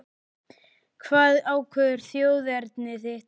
Hvað ákveður þjóðerni þitt?